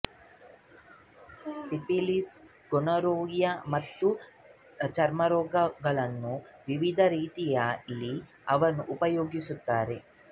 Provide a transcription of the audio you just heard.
syphilis gonorrhoea ಮತ್ತು ಚರ್ಮರೋಗಗಳಲ್ಲೂ ವಿವಿಧ ರೀತಿಯಲ್ಲಿ ಅವನ್ನು ಉಪಯೋಗಿಸುತ್ತಾರೆ